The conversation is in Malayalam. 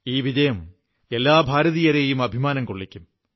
ഈ വിജയം എല്ലാ ഭാരതീയരെയും അഭിമാനം കൊള്ളിക്കും